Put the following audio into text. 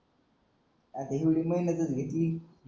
आता एवढी मेहनतच घेतली